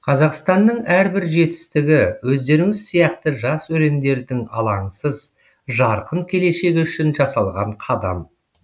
қазақстанның әрбір жетістігі өздеріңіз сияқты жас өрендердің алаңсыз жарқын келешегі үшін жасалған қадам